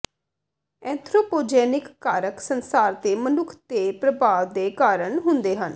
anthropogenic ਕਾਰਕ ਸੰਸਾਰ ਤੇ ਮਨੁੱਖ ਦੇ ਪ੍ਰਭਾਵ ਦੇ ਕਾਰਨ ਹੁੰਦੇ ਹਨ